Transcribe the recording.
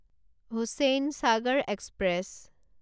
Hussainsagar express